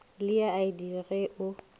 le ya id ge o